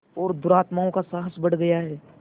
और दुरात्माओं का साहस बढ़ गया है